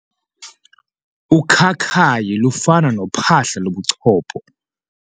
Ukhakayi lufana nophahla lobuchopho.